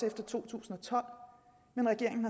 efter to tusind og tolv men regeringen